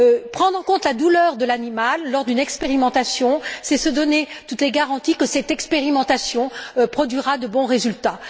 Prendre en compte la douleur de l'animal lors d'une expérimentation, c'est se donner toutes les garanties que cette expérimentation produira de bons résultats.